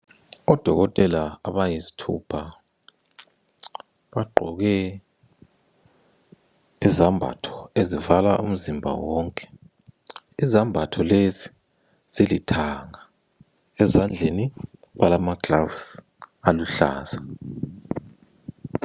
Odokotela abayisithupha, bagqoke izambatho ezivala umzimba wonke. Izambatho lezi zilithanga ezandleni balamagloves aluhlaza.